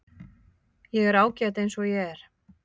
Ég er ágæt eins og ég er.